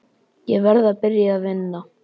Ég verð að byrja að vinna.